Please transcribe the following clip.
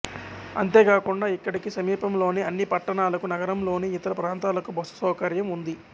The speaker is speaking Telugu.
అంతేకాకుండా ఇక్కడికి సమీపంలోని అన్ని పట్టణాలకు నగరంలోని ఇతర ప్రాంతాలకు బస్సు సౌకర్యం ఉంది